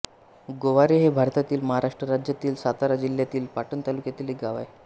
गोवारे हे भारतातील महाराष्ट्र राज्यातील सातारा जिल्ह्यातील पाटण तालुक्यातील एक गाव आहे